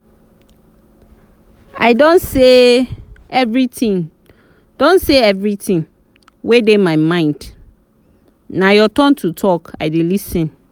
i don say everything don say everything wey dey my mind na your turn to talk i dey lis ten